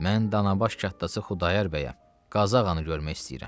Mən Danabaş kətdası Xudayar bəyəm, Qazı ağanı görmək istəyirəm.